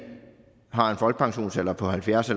har en folkepensionsalder på halvfjerds